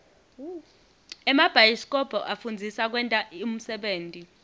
emabhayisikobho afundzisa kwenta unsebenti